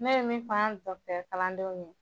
Ne be min fɔ an ka dɔgɔtɔrɔ kalandenw ye